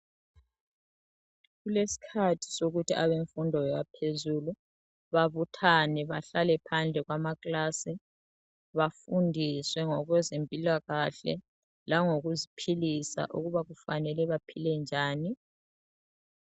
Kulesikhathi sokuthi abemfundo yaphezulu babuthane bahlale phandle kwamakilasi bafundiswe ngokwezempilakahle langokuziphilisa ukuba kufanele baphile njani.